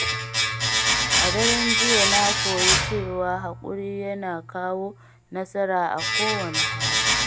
A daren jiya, na koyi cewa haƙuri yana kawo nasara a kowane hali.